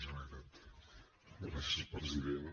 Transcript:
gràcies president